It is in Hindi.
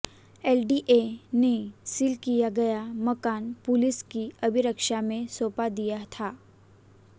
एलडीए ने सील किया गया मकान पुलिस की अभिरक्षा में सौंप दिया था